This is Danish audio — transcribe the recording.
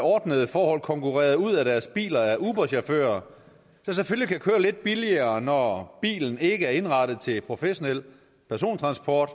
ordnede forhold konkurreret ud af deres biler af uberchauffører der selvfølgelig kan køre lidt billigere når bilen ikke er indrettet til professionel persontransport